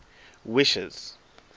wishes